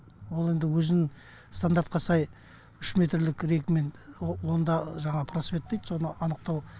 ал енді өзін стандартқа сай үш метрлік рейкамен онда жаңағы просвет дейді соны анықтау